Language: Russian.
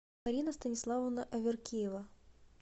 марина станиславовна аверкиева